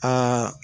Aa